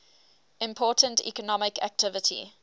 important economic activity